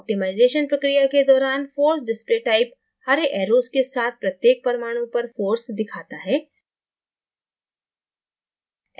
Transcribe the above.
optimisation प्रक्रिया के दौरान: force display type हरे arrows के साथ प्रत्येक परमाणु पर force दिखाता है